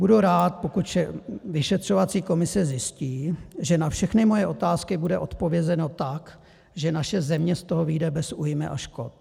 Budu rád, pokud vyšetřovací komise zjistí, že na všechny moje otázky bude odpovězeno tak, že naše země z toho vyjde bez újmy a škod.